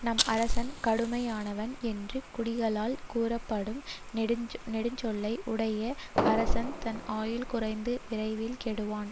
நம் அரசன் கடுமையானவன் என்று குடிகளால் கூறப்படும் கொடுஞ்சொல்லை உடைய அரசன் தன் ஆயுள் குறைந்து விரைவில் கெடுவான்